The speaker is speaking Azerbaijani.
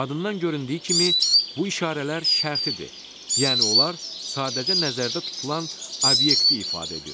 Adından göründüyü kimi, bu işarələr şərtidir, yəni onlar sadəcə nəzərdə tutulan obyekti ifadə edir.